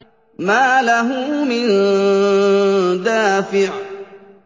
مَّا لَهُ مِن دَافِعٍ